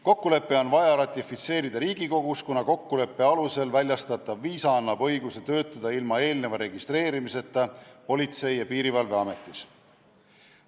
Kokkulepe on vaja ratifitseerida Riigikogus, kuna kokkuleppe alusel väljastatav viisa annab õiguse töötada ilma eelneva Politsei- ja Piirivalveametis registreerimiseta.